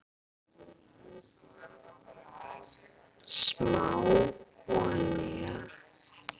Smá olía